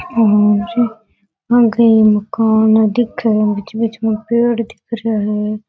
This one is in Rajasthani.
और पेड़ दिख रा है।